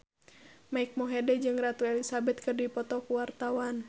Mike Mohede jeung Ratu Elizabeth keur dipoto ku wartawan